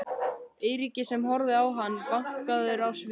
Eiríki sem horfði á hann, vankaður á svip.